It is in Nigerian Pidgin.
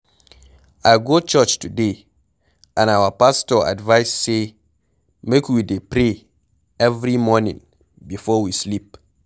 I go church today and our pastor advice say make we dey pray every morning before we sleep.